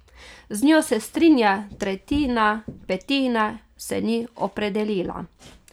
Z njo se strinja tretjina, petina se ni opredelila.